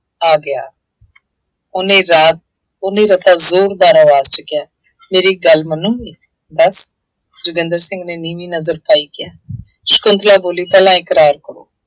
ਆ ਗਿਆ, ਉਹਨੇ ਰਾਤ, ਉਹਨੇ ਰਤਾ ਜ਼ੋਰਦਾਰ ਆਵਾਜ਼ ਚ ਕਿਹਾ, ਮੇਰੀ ਇੱਕ ਗੱਲ ਮੰਨੋਗੇ, ਦੱਸ, ਜੋਗਿੰਦਰ ਸਿੰਘ ਨੇ ਨੀਵੀਂ ਨਜ਼ਰ ਪਾਈ ਕਿਹਾ, ਸ਼ੰਕੁਤਲਾ ਬੋਲੀ ਪਹਿਲਾਂ ਇੱਕਰਾਰ ਕਰੋ।